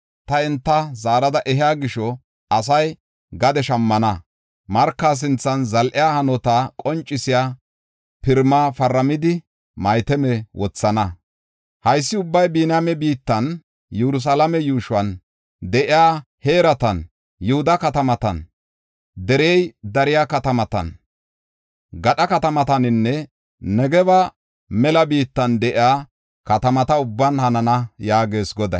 Ta enta zaarada ehiya gisho, asay gade shammana; marka sinthan zal7iya hanota qoncisiya pirima paramidi, maatame wothana. Haysi ubbay Biniyaame biittan, Yerusalaame yuushuwan de7iya heeratan, Yihuda katamatan, derey dariya katamatan, gadha katamataninne Negebe mela biittan de7iya katamata ubban hanana” yaagees Goday.